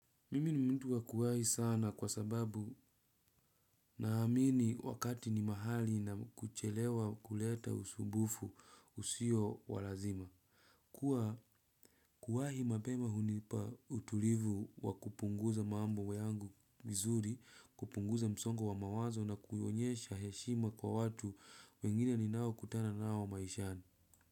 Mimi ni mtu wa kuwahi sana kwa sababu naamini wakati ni mahali na kuchelewa huleta usumbufu usio wa lazima. Kuwa kuwahi mapema hunipa utulivu wa kupunguza mambo yangu vizuri, kupunguza msongo wa mawazo na kuonyesha heshima kwa watu wengine ni nao kutana nao maishani.